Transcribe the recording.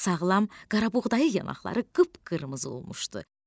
Sağlam, qarabuğdayı yanaqları qıp-qırmızı olmuşdu.